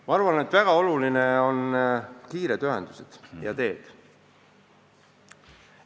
Ma arvan, et väga olulised on kiired ühendused ja head teed.